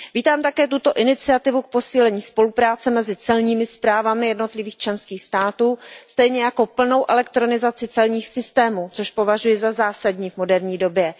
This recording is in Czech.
Vítám také tuto iniciativu k posílení spolupráce mezi celními správami jednotlivých členských států stejně jako plnou elektronizaci celních systémů, což považuji za zásadní v moderní době.